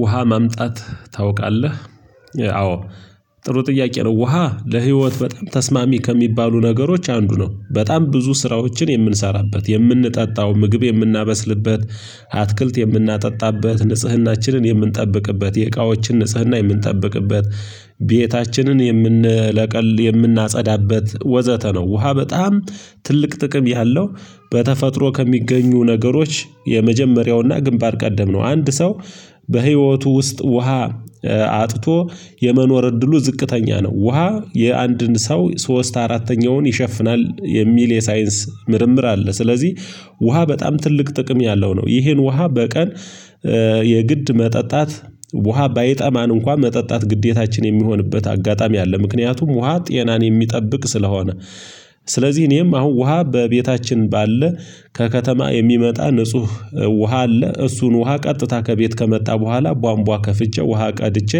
ውሃ ማምጣት ታውቃለህ? አዎ ጥሩ ጥያቄ ነው ውሃ ለህይወት በጣም ተስማሚ ከሚባሉ ነገሮች አንዱ ነው በጣም ብዙ ስራዎችን የምንሰራበት የምንጠጣው ምግብ የምናበስልበት አትክልት የምናጠጣበት ንጽህናችንን የምንጠብቅበት የእቃዎችን ንጽህና የምንጠብቅበት ቤታችንን የምንለቀ የምናጸዳበት ወዘተ ነው ውሃ በጣም ትልቅ ጥቅም ያለው በተፈጥሮ ከሚገኙ ነገሮች የመጀመሪያውና ግንባር ቀደም ነው አንድ ሰው በህይወቱ ውስጥ ውሃ አጥቶ የመኖር እድሉ ዝቅተኛ ነው ውሃ የአንድን ሰው ሶስት አራተኛውን ይሸፍናል የሚል የሳይንስ ምርምር አለ ስለዚህ ውሃ በጣም ትልቅ ጥቅም ያለው ነው ይሄን ውሃ በቀን የግድ መጠጣት ውሃ ባይጠማን እንኳን መጠጣት ግዴታችን የሚሆንበት አጋጣሚ አለ ምክንያቱም ውሃ ጤናን የሚጠብቅ ስለሆነ ስለዚህ እኔም አሁን ውሃ በቤታችን ባለ ከከተማ የሚመጣ ንጹህ ውሃ አለ እሱን ውሃ ቀጥታ ከቤት ከመጣ በኋላ ቧንቧ ከፍቼ ውሃ ቀድቼ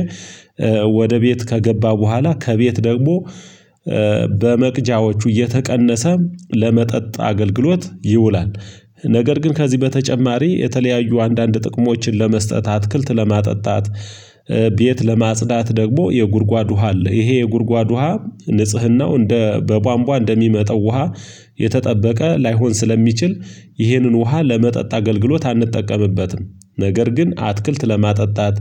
ወደ ቤት ከገባ በኋላ ከቤት ደግሞ በመቅጃዎቹ እየተቀነሰ ለመጠጥ አገልግሎት ይውላል ነገር ግን ከዚህ በተጨማሪ የተለያዩ አንዳንድ ጥቅሞችን ለመስጠት አትክልት ለማጠጣት ቤት ለማጽዳት ደግሞ የጉድጓድ ውሃ አለ ይሄ የጉድጓድ ውሃ ንጽህናው እንደ በቧንቧ እንደሚመጣው ውሃ የተጠበቀ ላይሆን ስለሚችል ይህንን ውሃ ለመጠጥ አገልግሎት አንጠቀምበትም ነገር ግን አትክልት ለማጠጣት፣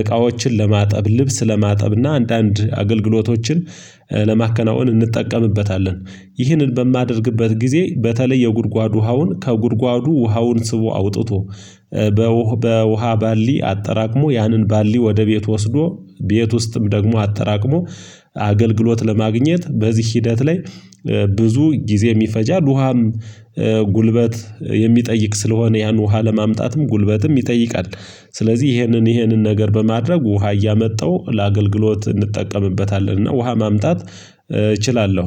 እቃዎችን ለማጠብ፣ ልብስ ለማጠብ እና አንዳንድ አገልግሎቶችን ለማከናወን እንጠቀምበታለን ይህንን በማደርግበት ጊዜ በተለይ የጉድጓድ ውሃውን ከጉድጓዱ ውሃውን ስቦ አውጥቶ በውሃ በውሃ ባሊ አጠራቅሞ ያንን ባሊ ወደ ቤት ወስዶ ቤት ውስጥም ደግሞ አጠራቅሞ አገልግሎት ለማግኘት በዚህ ሂደት ላይ ብዙ ጊዜ ይፈጃል ውሃም ጉልበት የሚጠይቅ ስለሆነ ያን ውሃ ለማምጣትም ጉልበትም ይጠይቃል ስለዚህ ይሄንን ይህንን ነገር በማድረግ ውሃ እያመጣሁ ለአገልግሎት እንጠቀምበታለንና ውሃ ማምጣት እችላለሁ